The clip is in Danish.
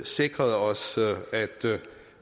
sikret os